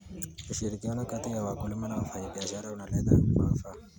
Ushirikiano kati ya wakulima na wafanyabiashara unaleta manufaa.